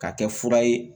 K'a kɛ fura ye